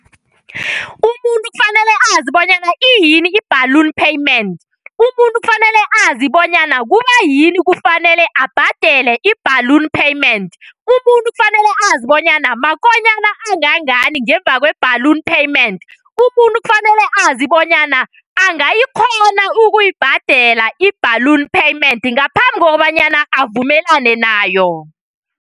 Umuntu kufanele azi bonyana iyini i-balloon payment, umuntu fanele bonyana kubayini kufanele abhadele i-ballon payment, umuntu kufanele azi bonyana makonyana angangani ngemuva kwe-balloon payment, umuntu kufanele azi bonyana angayikghona ukuyibhadela i-balloon payment ngaphambi kokobanyana avumelane nayo.